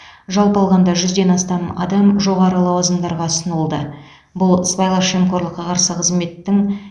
жалпы алғанда жүзден астам адам жоғары лауазымдарға ұсынылды бұл сыбайлас жемқорлыққа қарсы қызметтің